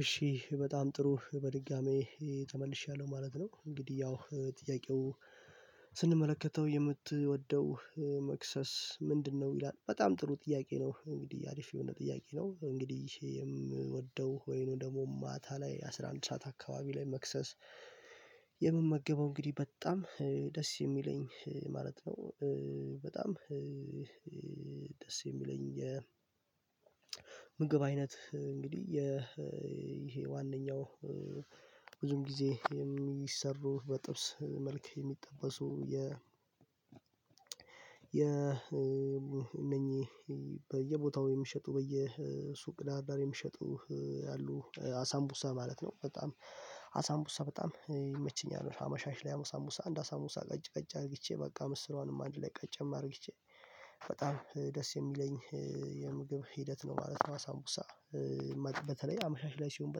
እሺ በጣም ጥሩ በድጋሚ ተመልሻለሁ ማለት ነው እንግዲህ ያው ስንመለከተው የምትወደው መክሰስ ምንድነው? ይላል በጣም ጥሩ ጥያቄ ነው እንግዲህ አሪፍ የሆነ ጥያቄ ነው እንግዲህ የምወደው ወይንም ደግሞ ማታ ላይ አስራ አንድ ሰዓት አካባቢ ላይ መክሰስ የምመገበው እንግዲህ በጣም ደስ የሚለኝ ማለት ነው ደስ የሚለኝ የምግብ አይነት እንግዲህ የ ይሄ ዋነኛው ብዙን ጊዜ የሚሰሩ በጥብስ መልክ የሚጠበሱ የ የ እነኚህ በየቦታው የሚሸጡ በየሱቅ ዳር ዳር የሚሸጡ ያሉ አሳምቡሳ ማለት ነው በጣም አሳምቡሳ በጣም ይመችኛል አመሻሽ ላይ አሳምቡሳ አንድ አሳምቡሳ ቀጭ ቀጭ አድርጌቼ በቃ ምስሯንም አንድ ላይ ቀጨም አድርግቼ በጣም ደስ የሚለኝ የምግብ ሂደት ነው ማለት ነው አሳምቡሳ በተለይ አመሻሽ ላይ ሲሆን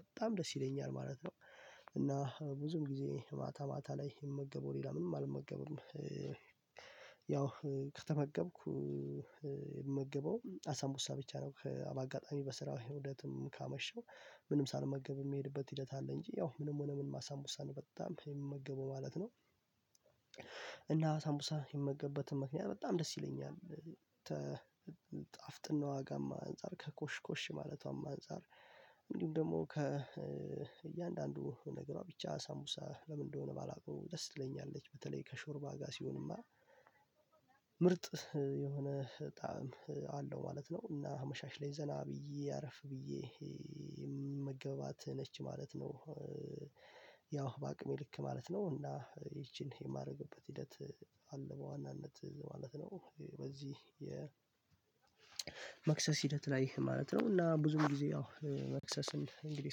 በጣም ደስ ይለኛል ማለት ነው እና ብዙን ጊዜ ማታ ማታ ላይ የምመገበው ሌላ ምንም አልመገብም ያው ከተመገብኩ የምመገበው አሳምቡሳ ብቻ ነው አጋጣሚ በስራ ሂደትም ካመሸው ምንም ሳልመገብ የሚሄድበት ሂደት አለ እንጂ ያው ምንም ሆነ ምንም አሳምቡሳ በጣም የምመገበው ማለት ነው እና አሳምቡሳ የምመገበትን ምክንያት በጣም ደስ ይለኛል ጣፍጥናዋ ጋም አንፃር ከኮሽኮሽ ማለቷም አንፃር ደግሞ ከእያንዳንዱ ነገሯ ብቻ አሳምቡሳ ለምን እንደሆነ ባላውቀው ደስ ትለኛለች በተለይ ከሾርባ ጋር ሲሆንማ ምርጥ የሆነ ጣዕም አለው ማለት ነው እና አመሻሽ ላይ ዘና ብዬ አረፍ ብዬ የምመገባት ነች ማለት ነው በአቅሜ ልክ ማለት ነው እና ይቺን የማደርግበት ሂደት አለ በዋናነት ማለት ነው በዚህ የ መክሰስ ሂደት ላይ ማለት ነው እና ብዙ ጊዜ ያው መክሰስን እንግዲህ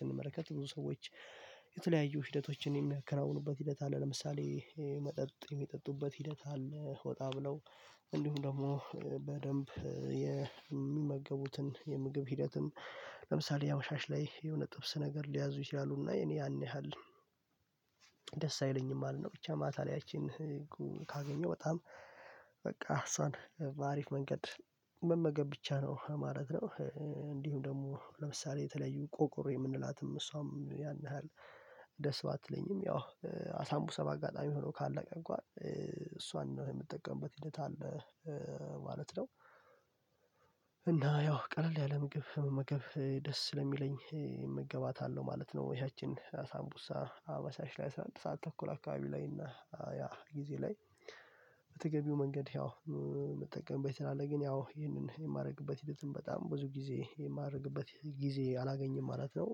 ስንመለከት ብዙ ሰዎች የተለያዩ ሂደቶችን የሚያከናውኑበት ሂደት አለ ለምሳሌ መጠጥ የሚጠጡበት ሂደት አለ ወጣ ብለው እንዲሁም ደግሞ በደንብ የሚመገቡትን የምግብ ሂደትም ለምሳሌ አመሻሽ ላይ የሆነ ጥብስ ነገር ሊያዙ ይችላሉና የኔ ያን ያህል ደስ አይለኝም ማለት ነው ብቻ ማታ ላይ ያቺን ካገኘው በጣም በቃ እሷን በአሪፍ መንገድ መመገብ ብቻ ነው ማለት ነው እንዲሁም ደግሞ ለምሳሌ የተለዩ ቆቆሮ የምንላትም እሷም ያን ያህል ደስ ባትለኝም ያው አሳምቡሳ በአጋጣሚ ሆኖ ካለቀ እንኳን እሷን ነው የምትጠቀምበት ሂደት አለ ማለት ነው እና ያው ቀለል ያለ ምግብ መመገብ ደስ ስለሚለኝ እመገባታለሁ ማለት ነው ያችን ሳምቡሳ አመሻሽ ላይ አስራ አንድ ሰዓት ተኩል አካባቢ ላይ እና ያ ጊዜ ላይ በተገቢው መንገድ ያው የምጠቀምበት አለ ግን ያው ይህንን የማደርግበት ሂደትም በጣም ብዙ ጊዜ የማደርግበት ጊዜ አላገኝም ማለት ነው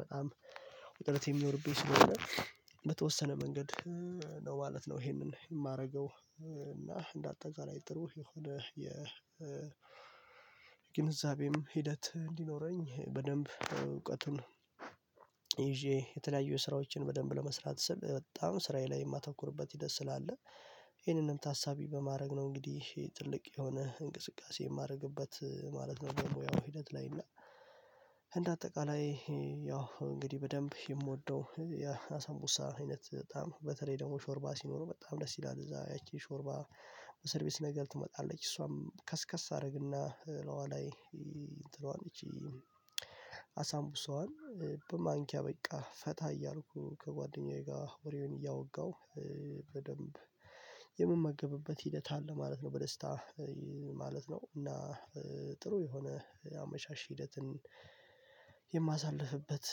በጣም ውጥረት የሚኖርብኝ ስለሆነ በተወሰነ መንገድ ነው ማለት ነው ይሄንን የማደርገው እና እንደ አጠቃላይ ጥሩ የሆነ የግንዛቤም ሂደት እንዲኖረኝ በደንብ እውቀቱን ይዤ የተለያዩ ስራዎችን በደንብ ለመስራት ስብ በጣም ስራዬ ላይ የማተኩርበት ሂደት ስላለ ይሄንንም ታሳቢ በማድረግ ነው እንግዲህ ትልቅ የሆነ እንቅስቃሴ የማደርግበት ማለት ነው ያው ሂደት ላይ እና እንደ አጠቃላይ ያው እንግዲህ በደንብ የምወደው የአሳምቡሳ አይነት በጣም በተለይ ደግሞ ሾርባ ሲኖረው በጣም ደስ ይላል እዛ ያቺ ሾርባ በሰርቪስ ነገር ትመጣለች እሷም ከስከስ አደረግና እላይዋ ላይ አሳምቡሳዋን በማንኪያ በቃ ፈታ እያልኩኝ ከጓደኛዬ ጋር ወሬውን እያወጋሁ በደንብ የምመገብበት ሂደት አለ ማለት ነው በደስታ ማለት ነው እና ጥሩ የሆነ አመሻሽ ሂደትን የማሳልፍበት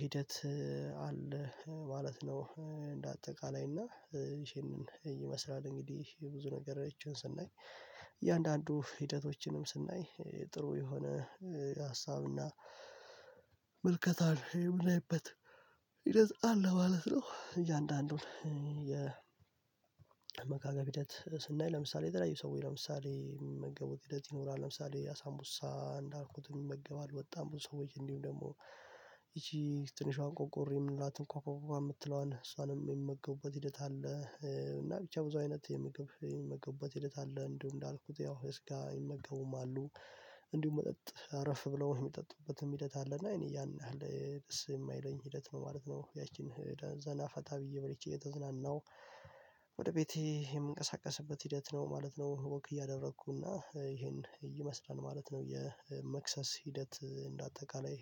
ሂደት አለ ማለት ነው እንደ አጠቃላይ እና ይሄንን ይመስላል እንግዲህ ብዙ ነገሮችን ስናይ እያንዳንዱ ሂደቶችንም ስናይ ጥሩ የሆነ ሀሳብና ምልከታን የምናይበት ሂደት አለ ማለት ነው እያንዳንዱን የ አመጋገብ ሂደት ስናይ ለምሳሌ የተለያዩ ሰዎች ለምሳሌ የሚመገቡት ሂደት ይኖራል ለምሳሌ አሳምቡሳ እንዳልኩት ይመገባሉ በጣም ብዙ ሰዎች እንዲሁም ደግሞ ትንሿን ቆቆር የምንላት እንኳን ቋ ቋ ቋ የምትለዋን እሷንም የሚመገቡበት ሂደት አለ እና ብቻ ብዙ አይነት የምግብ የሚመገቡበት ሂደት አለ እንደው እንዳልኩት ያው በስጋ ይመገቡም አሉ እንዲሁም መጠጥ አረፍ ብለውህ የሚጠጡበትም ሂደት አለና እኔ ያን ያህል ደስ የማይለኝ ሂደት ነው ማለት ነው ያቺን ዘና ፈታ ብዬ በልቼ እየተዝናናሁ ወደ ቤቴ የምንቀሳቀስበት ሂደት ነው ማለት ነው ወክ እያደረኩና ይሄን ይመስላል ማለት ነው የመክሰስ ሂደት እንደ አጠቃላይ